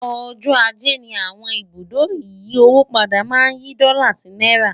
ọjọ ajé ní àwọn ibùdó ìyí owó padà má n yí dòla sí náírà